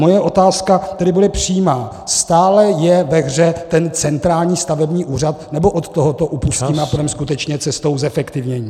Moje otázka tedy bude přímá: Stále je ve hře ten centrální stavební úřad, nebo od toho upustíme a půjdeme skutečně cestou zefektivnění?